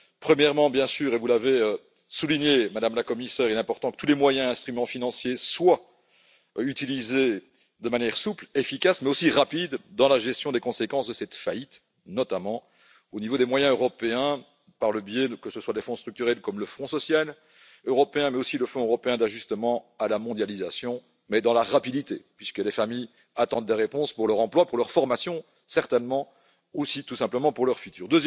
Premièrement, bien sûr, et vous l'avez souligné, Madame la Commissaire, il est important que tous les moyens et instruments financiers soient utilisés de manière souple, efficace, mais aussi rapide, dans la gestion des conséquences de cette faillite, notamment au niveau des moyens européens par le biais, que ce soit des fonds structurels, comme le Fonds social européen, mais aussi du Fonds européen d'ajustement à la mondialisation. Il faut agir rapidement puisque les familles attendent des réponses pour leur emploi, pour leur formation, certainement, mais aussi tout simplement pour leur avenir.